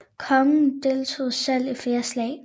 Kongen deltog selv i flere slag